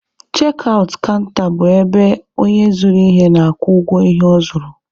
Chek aụt kanta bụ ebe onye zụrụ ihe na-akwụ ụgwọ ihe ọ zụrụ.